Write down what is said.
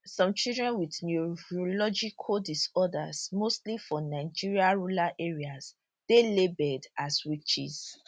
some children wit neurological disorders mostly for nigeria rural areas dey labelled as witches